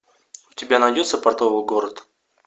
у тебя найдется портовый город